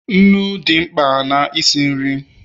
nnu dị mkpa na isi nri